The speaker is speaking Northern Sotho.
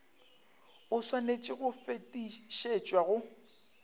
o swanetše go fetišetšwa go